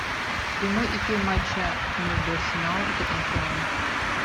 прямой эфир матча между арсеналом и тоттенхэмом